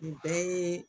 Nin bɛɛ ye